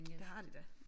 Det har de da